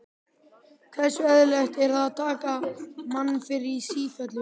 Hversu eðlilegt er það að taka mann fyrir í sífellu?